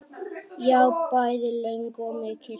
Já, bæði löng og mikil.